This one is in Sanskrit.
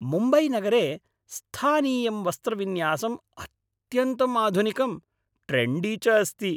मुम्बैनगरे स्थानीयं वस्त्रविन्यासं अत्यन्तम् आधुनिकम्, ट्रेण्डी च अस्ति।